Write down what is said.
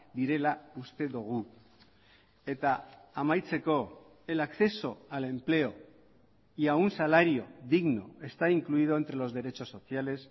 direla uste dugu eta amaitzeko el acceso al empleo y a un salario digno está incluido entre los derechos sociales